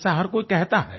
ऐसा हर कोई कहता है